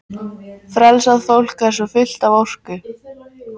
Frelsað fólk er svo fullt af orku.